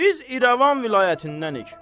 Biz İrəvan vilayətindənik.